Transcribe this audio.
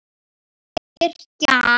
Yrkja hann!